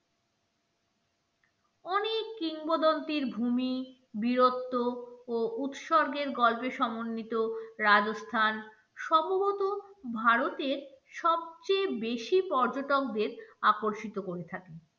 অনেক কিংবদন্তির ভূমি, বীরত্ব ও উৎসর্গের গল্পে সমন্বিত রাজস্থান সম্ভবত ভারতের সবচেয়ে বেশি পর্যটকদের আকর্ষিত করে থাকি